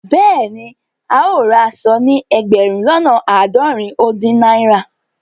Bẹẹni, ào rá àṣọ̀ ní ẹgbérùn lọ́nà aádọ́rìn ó dìn naira.